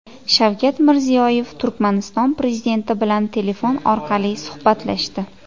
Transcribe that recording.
Shavkat Mirziyoyev Turkmaniston prezidenti bilan telefon orqali suhbatlashdi.